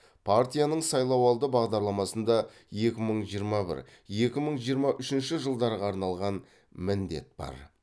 партияның сайлауалды бағдарламасында екі мың жиырма бір екі мың жиырма үшінші жылдарға арналған міндет бар